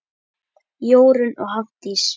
Jórunn og Hafdís.